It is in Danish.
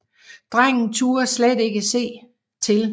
Drengen turde slet ikke se til